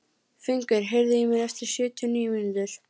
Fengur, heyrðu í mér eftir sjötíu og níu mínútur.